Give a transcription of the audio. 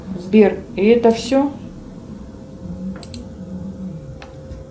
сбер и это все